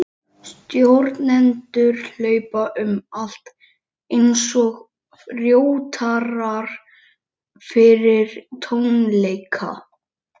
Stjórnendur hlaupa um allt, einsog rótarar fyrir tónleika.